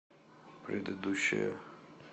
предыдущая